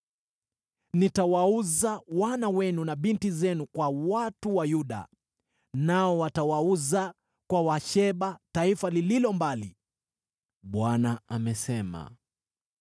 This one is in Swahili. Nitawauza wana wenu na binti zenu kwa watu wa Yuda, nao watawauza kwa Waseba, taifa lililo mbali.” Bwana amesema.